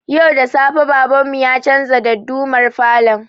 Yau da safe baban mu ya canza dardumar falon